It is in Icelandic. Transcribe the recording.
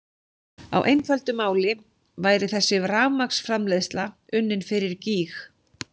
Á einföldu máli væri þessi rafmagnsframleiðsla unnin fyrir gýg!